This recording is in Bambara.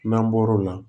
N'an bɔr'o la